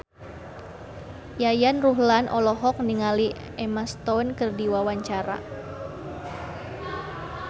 Yayan Ruhlan olohok ningali Emma Stone keur diwawancara